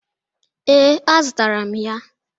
Ee, a zụtara m ya